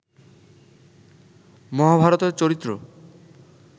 মহাভারতের চরিত্র